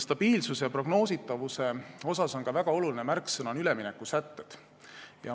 Stabiilsuse ja prognoositavuse puhul on väga oluline märksõna "üleminekusätted".